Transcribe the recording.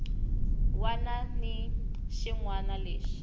wana ni xin wana lexi